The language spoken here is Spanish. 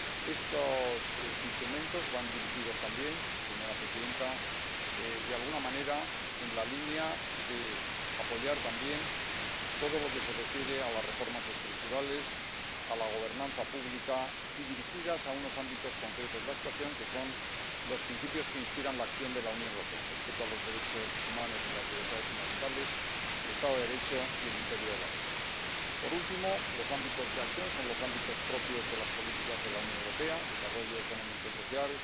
Estos instrumentos van dirigidos también, señora presidenta, a apoyar a todo lo que se refiere a las reformas estructurales y a la gobernanza pública, y van dirigidos a unos ámbitos concretos de actuación, que son los principios que inspiran la acción de la Unión Europea el respeto a los derechos humanos y las libertades fundamentales, el Estado de Derecho y el imperio de la ley. Por último, los ámbitos de acción son los ámbitos propios de las políticas de la Unión Europea desarrollo económico y social,